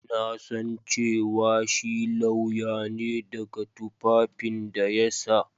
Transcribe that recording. Na san cewa shi lauya ne daga tufafin da ya sa.